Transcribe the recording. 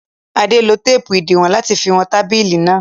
Adé lo téépù ìdiwọn láti fi wọn tábìlì náà.